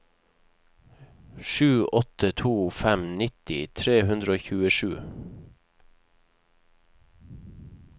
sju åtte to fem nitti tre hundre og tjuesju